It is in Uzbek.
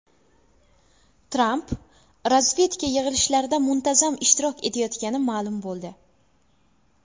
Tramp razvedka yig‘ilishlarida muntazam ishtirok etayotgani ma’lum bo‘ldi.